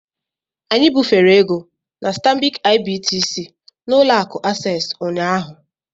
Anyị bufere ego na Stanbic IBTC na Ụlọ akụ Access ụnyahụ